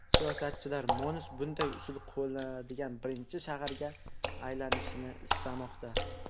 Siyosatchilar Mons bunday usul qo‘llaniladigan birinchi shaharga aylanishini istamoqda.